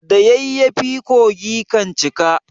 Da yayyafi kogi kan cika.